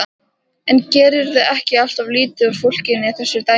En gerirðu ekki alltof lítið úr fólkinu í þessu dæmi?